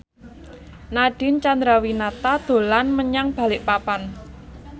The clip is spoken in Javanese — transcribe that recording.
Nadine Chandrawinata dolan menyang Balikpapan